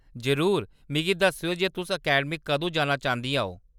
जरूर, मिगी दस्सेओ जे तुस अकैडमी कदूं जाना चांह्‌दियां ओ।